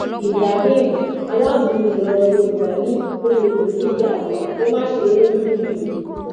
ibrahim alágúnmu ìlọrin yorùbá ni olè kò ní í já àgbà kó máa ṣe é lójú fìrí